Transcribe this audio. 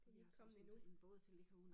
Vi har så sådan en båd til at ligge herude